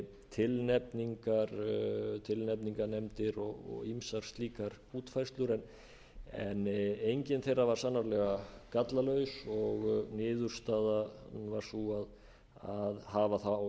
stjórnarkjöri með öðrum hætti tilnefningarnefndir og ýmsar slíkar útfærslur en engin þeirra var sannarlega gallalaus og niðurstaðan var sú að hafa þá